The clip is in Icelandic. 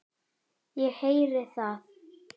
Ég heyri það.